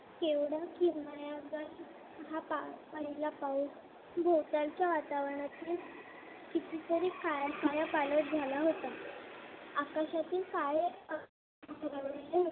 हा पहिला पाऊस भोवतालच्या वातावरणातील किती तरी कायापालट झाल्या होत्या आकाशातील काळे